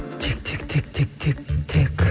тек тек тек тек тек тек